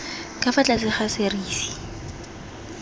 ka fa tlase ga serisi